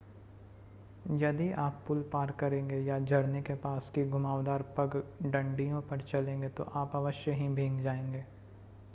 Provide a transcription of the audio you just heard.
यदि आप पुल पार करेंगे या झरने के पास की घुमावदार पगडंडियों पर चलेंगे तो आप अवश्य हीे भीग जाएंगे